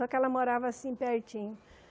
Só que ela morava assim, pertinho.